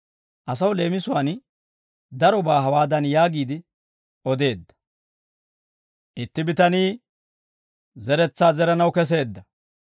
Asaw leemisuwaan darobaa hawaadan yaagiide odeedda; «Itti bitanii zeretsaa zeranaw keseedda.